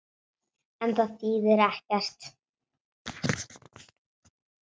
En það þýðir ekkert.